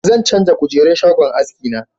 Zan canja kujerun shagon haski na